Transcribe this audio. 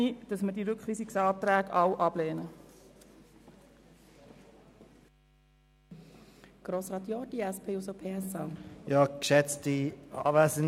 Deshalb bitte ich darum, sämtliche Rückweisungsanträge abzulehnen.